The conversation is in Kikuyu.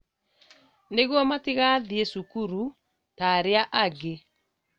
Nĩguo matigathiĩ cukuru ta arĩa angĩ